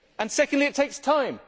Secondly, it takes time.